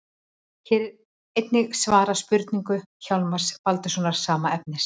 Hér er einnig svarað spurningu Hjálmars Baldurssonar, sama efnis.